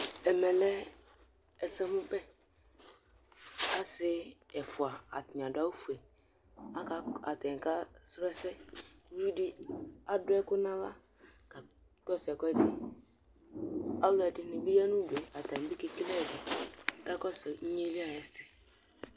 Ɛmɛlɛ ɛsɛmʋbɛ, asi ɛfʋa atani adʋ awʋfue, atani kasrɔ ɛsɛ Ʋvidi adʋ ɛkʋ nʋ aɣla, kʋ ɔkakɔsʋ ɛkʋɛdi, alʋɛdini bi yanʋ ʋdʋ atani bi kekele inyeli ayʋ ɛsɛ